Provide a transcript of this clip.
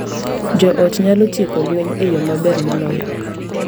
Jo ot nyalo tieko lwenje e yo maber moloyo.